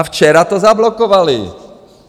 A včera to zablokovali.